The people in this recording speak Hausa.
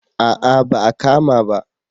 A'a ba a kama ba